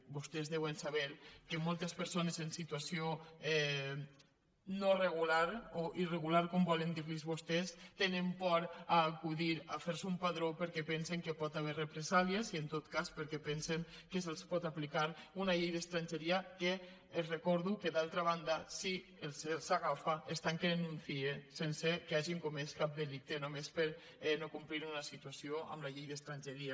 vostès deuen saber que moltes persones en situació no regular o irregular com volen dirlos vostès tenen por d’acudir a fer se un padró perquè pensen que hi pot haver represàlies i en tot cas perquè pensen que se’ls pot aplicar una llei d’estrangeria que els recordo que d’altra banda si se’ls agafa els tanquen en un cie sense que hagin comès cap delicte només per no complir una situació amb la llei d’estrangeria